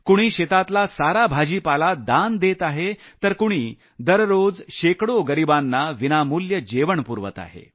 कुणी शेतातला संपूर्ण भाजीपाला दान देत आहे तर कुणी दररोज शेकड़ो गरिबांना विनामूल्य जेवण पुरवत आहे